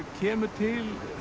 kemur til